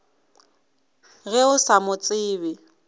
ge o sa mo tsebe